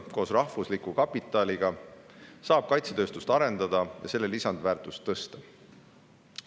Koos rahvusliku kapitaliga saab kaitsetööstust arendada ja selle lisandväärtust tõsta.